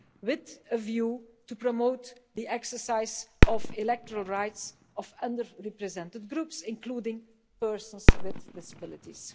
with a view to promote the exercise of electoral rights of under represented groups, including persons with disabilities.